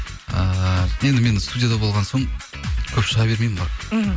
ііі енді мен студияда болған соң көп шыға бермеймін ғой мхм